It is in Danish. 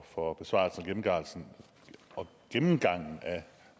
for besvarelsen og gennemgangen af